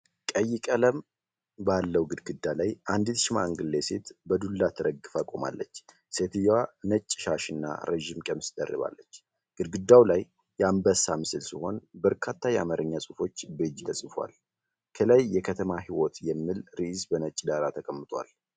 ቀይ ቀለም ባለው ግድግዳ ላይ አንዲት ሽማግሌ ሴት በዱላ ተደግፋ ቆማለች። ሴትየዋ ነጭ ሻሽና ረጅም ቀሚስ ደርባለች። ግድግዳው ላይ የአንበሳ ምስል ሲሆን፣ በርካታ የአማርኛ ጽሑፎች በእጅ ተጽፈዋል። ከላይ “የከተማ ሕይወት” የሚል ርዕስ በነጭ ዳራ ተቀምጧል።